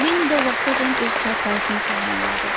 Lenidə o vaxtacan öz çarpayısını saxmanladı.